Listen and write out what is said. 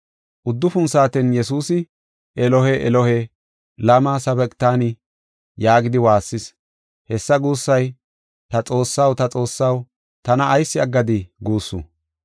Uddufun saaten Yesuusi, “Elohe, Elohe, lama sabaqtanii?” yaagidi waassis. Hessa guussay, “Ta Xoossaw, ta Xoossaw, tana ayis aggadii?” guussu.